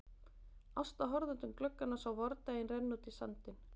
Ásta horfði út um gluggann og sá vordaginn renna út í sandinn.